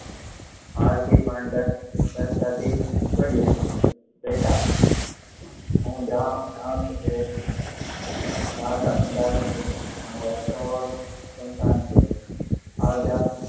આ થી આપડા સહજતા થી કહીંયુ બેટા, હું જાણું છું કે વાત અંધારી છે, અને છે